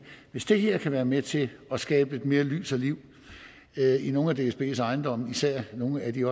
hvis det her kan være med til at skabe lidt mere lys og liv i nogle af dsbs ejendomme især på nogle af de